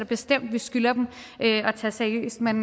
bestemt vi skylder dem at tage seriøst men